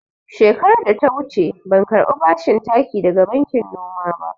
Shekarar da ta wuce ban karɓi bashin taki daga bankin noma ba.